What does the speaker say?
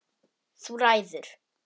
Þú ræður!